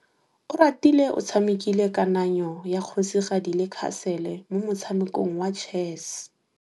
Oratile o tshamekile kananyô ya kgosigadi le khasêlê mo motshamekong wa chess.